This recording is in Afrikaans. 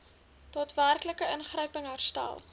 daadwerklike ingryping herstel